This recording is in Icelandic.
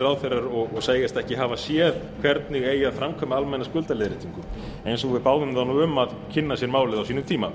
ráðherrar og segjast ekki hafa séð hvernig eigi að framkvæma almenna skuldaleiðréttingu eins og við báðum þá um að kynna sér málið á sínum tíma